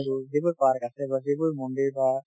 টো যিবোৰ park আছে বা যিবোৰ মন্দিৰ বা